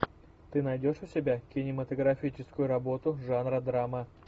ты найдешь у себя кинематографическую работу жанра драма